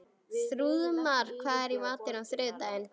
Þrúðmar, hvað er í matinn á þriðjudaginn?